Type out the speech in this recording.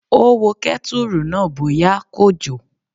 Ó wo kẹ́tùrù náà bóyá kò jò